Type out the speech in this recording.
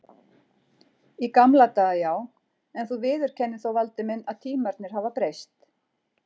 Í gamla daga já, en þú viðurkennir þó Valdi minn að tímarnir hafa breyst.